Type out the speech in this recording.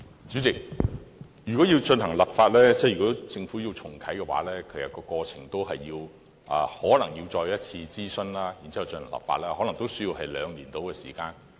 主席，如要進行立法，即如果政府要重啟的話，其實過程可能是要再次諮詢，然後立法，可能也須約兩年的時間。